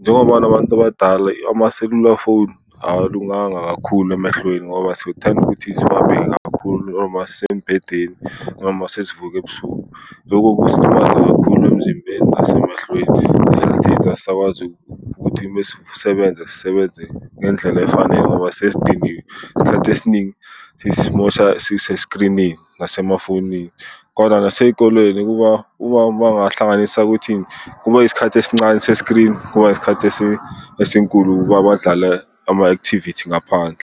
njengoba nabantu abadala amaselula foni awalunganga kakhulu emehlweni ngoba sithanda ukuthi siwabheke kakhulu uma sisembhedeni noma sesivuka ebusuku. Loko kusilimaza kakhulu emzimbeni nasemehlweni, asisakwazi ukuthi mesisebenza sisebenze ngendlela efanele ngoba sesidiniwe. Isikhathi esiningi sisimosha siseskrinini nasemafonini. Kodwa nasey'kolweni kuba kuba mawungahlanganisa ukuthi kube isikhathi esincane seskrinini, kuba isikhathi esinkulu kwabadlala ama-activity ngaphandle.